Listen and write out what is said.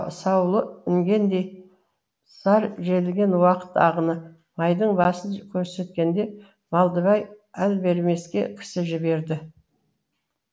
саулы інгендей зар желген уақыт ағыны майдың басын көрсеткенде малдыбай әлбермеске кісі жіберді